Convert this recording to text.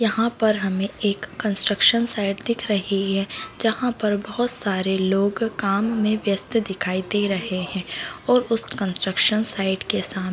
यहाँ पर हमे एक कन्स्ट्रक्शन साइट दिख रही है जहाँ पर बहोत सारे लोग काम मे व्यस्त दिखाई दे रहे है और उस कन्स्ट्रक्शन साइट के साम--